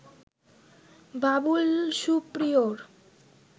Babul Superior